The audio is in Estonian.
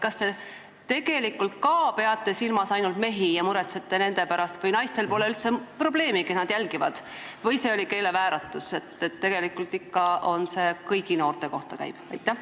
Kas te tegelikult ka peate silmas ainult mehi ja muretsete nende pärast, st naistel polegi üldse probleemi, nemad jälgivad, või see oli keelevääratus ja tegelikult käib see ikka kõigi noorte kohta?